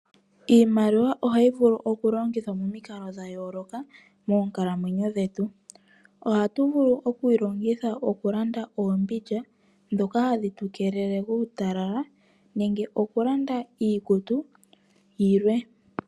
Iimaliwa ohayi vulu oku longithwa momikalo dhayoloka moonkalamwenyo dhetu. Ohatu vulu okwii longitha okulanda oombindja ndhoka hadhi tu keelele kuutalala nenge okulanda iikutu yilwe.